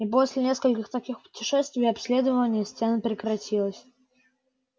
и после нескольких таких путешествий обследование стен прекратилось